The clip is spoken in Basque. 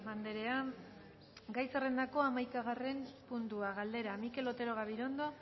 andrea gai zerrendako hamaikagarren puntua galdera mikel otero gabirondo